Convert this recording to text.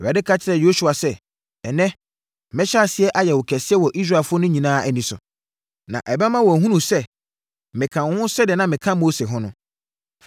Awurade ka kyerɛɛ Yosua sɛ, “Ɛnnɛ, mɛhyɛ aseɛ ayɛ wo kɛseɛ wɔ Israelfoɔ no nyinaa ani so. Na ɛbɛma wɔahunu sɛ, meka wo ho sɛdeɛ na meka Mose ho no.